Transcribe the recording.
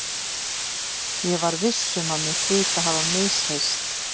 Ég var viss um að mér hlyti að hafa misheyrst.